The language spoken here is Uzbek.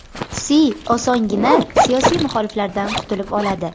Si osongina siyosiy muxoliflaridan qutulib oladi.